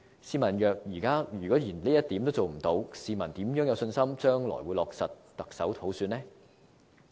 試問若現在連這一點也做不到，市民如何有信心將來會落實行政長官普選呢？